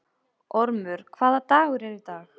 Ormur, hvaða dagur er í dag?